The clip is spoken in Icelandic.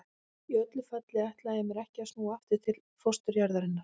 Í öllu falli ætlaði ég mér ekki að snúa aftur til fósturjarðarinnar.